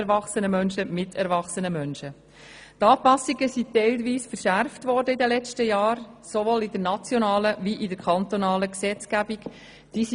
Die Anpassungen wurden teilweise in den letzten Jahren sowohl in der nationalen wie in der kantonalen Gesetzgebung verschärft.